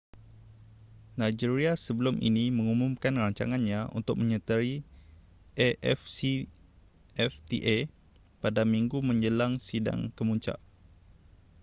nigeria sebelum ini mengumumkan rancangannya untuk menyertai afcfta pada minggu menjelang sidang kemuncak